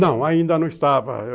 Não, ainda não estava.